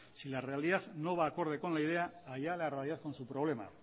si la realidad no va acorde con la idea allá la realidad con su problema